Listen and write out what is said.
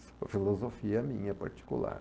Isso é uma filosofia minha particular.